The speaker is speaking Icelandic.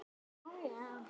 Það eru örlög þetta!